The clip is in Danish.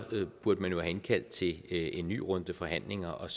burde man jo have indkaldt til en ny runde forhandlinger og